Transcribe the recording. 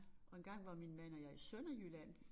Og engang var min mand og jeg i Sønderjylland